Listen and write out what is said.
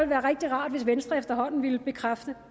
være rigtig rart hvis venstre efterhånden ville bekræfte